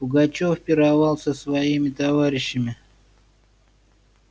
пугачёв пировал с своими товарищами